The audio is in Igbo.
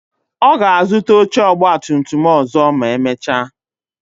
Ọ ga-azuta oche ọgba tum tum ọzọ ma emecha